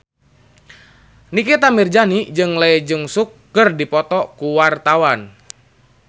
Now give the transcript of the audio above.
Nikita Mirzani jeung Lee Jeong Suk keur dipoto ku wartawan